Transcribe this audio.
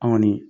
An kɔni